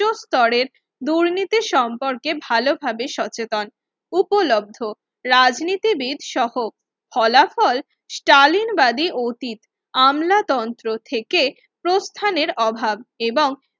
উচ্চস্তরের দুর্নীতি সম্পর্কে ভালোভাবে সচেতন উপলব্ধ রাজনীতিবিদ সহ ফলাফল চালমি বাদি অতীত আমলাতন্ত্র থেকে প্রস্থানের অভাব এবং